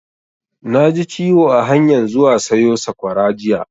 Na ji ciwo a hanyan zuwa sayo sakwara jiya